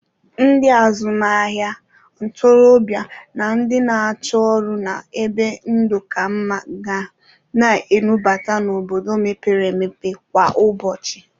Ndị azụmahịa, ntorọbịa na ndị na-achọ ọrụ na ebe ndụ ka mma ga na-enubata n'obodo mpepere empepe kwa ụbọchị.